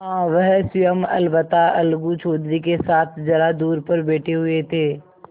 हाँ वह स्वयं अलबत्ता अलगू चौधरी के साथ जरा दूर पर बैठे हुए थे